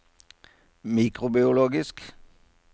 mikrobiologisk